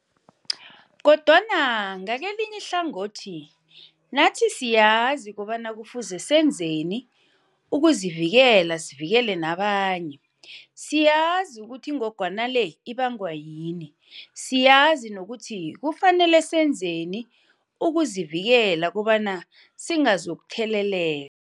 Kodwana ngakelinye ihlangothi nathi siyazi kobana kufuze senzeni ukuzivikela sivikele nabanye. Siyazi ukuthi ingogwana le ibangwa yini, siyazi nokuthi kufanele senzeni ukuzivikela kobana singazokuthelele